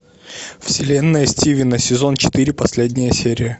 вселенная стивена сезон четыре последняя серия